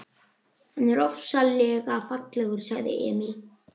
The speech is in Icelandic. Hann er ofsalega fallegur, sagði Emil.